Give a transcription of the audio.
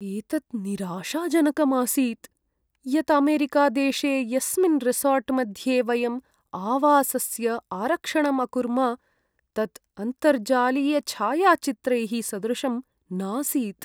एतत् निराशाजनकम् आसीत् यत् अमेरिकादेशे यस्मिन् रिसोर्ट्मध्ये वयं आवासस्य आरक्षणम् अकुर्म, तत् अन्तर्जालीयछायाचित्रैः सदृशं नासीत्।